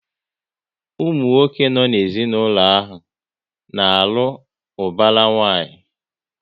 Ụmụ nwoke no n'ezinaulo ha na-alụ ubara nwanyi